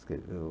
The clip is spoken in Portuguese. Escreveu...